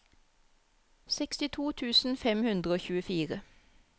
sekstito tusen fem hundre og tjuefire